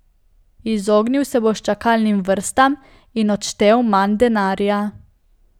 Izognil se boš čakalnim vrstam in odštel manj denarja.